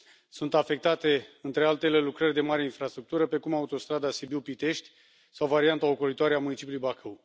Sunt afectate, între altele, lucrări de mare infrastructură, precum autostrada Sibiu Pitești, sau varianta ocolitoare a municipiului Bacău.